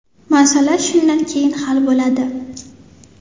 Masala shundan keyin hal bo‘ladi.